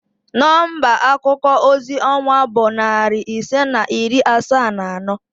Nọmba akuko ozi ọwa bụ narị ise na iri asaa na anọ